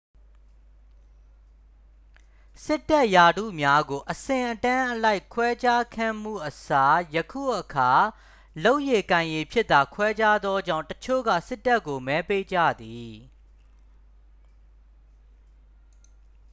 စစ်တပ်ရာထူးများကို အဆင့်အတန်းအလိုက် ခွဲခြားခဲ့မှုအစား ယခုအခါ လုပ်ရည်ကိုင်ရည်ဖြင့်သာ ခွဲခြားသောကြောင့် တစ်ချို့က စစ်တပ်ကို မဲပေးကြသည်